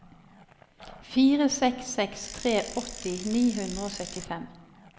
fire seks seks tre åtti ni hundre og syttifem